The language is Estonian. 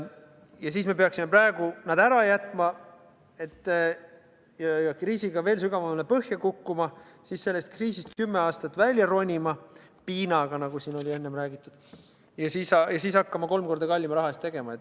Ja siis me peaksime praegu need ära jätma, kriisiga veel sügavamale põhja kukkuma, siis sellest kriisist kümme aastat välja ronima – piinaga, nagu siin enne räägiti – ja siis hakkama kolm korda kallima raha eest tegutsema.